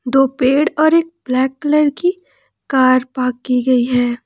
दो पेड़ और एक ब्लैक कलर की कार पार्क की गई है।